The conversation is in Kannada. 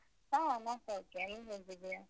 ಹಾ ನಾನ್ ಸೌಖ್ಯ. ನೀನ್ ಹೇಗಿದ್ಯಾ?